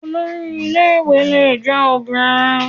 Olori ilé ìwé lè jẹ́ obìnrin.